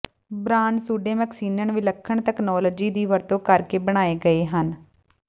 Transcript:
brand suede moccasins ਵਿਲੱਖਣ technology ਦੀ ਵਰਤੋਂ ਕਰਕੇ ਬਣਾਏ ਗਏ ਹਨ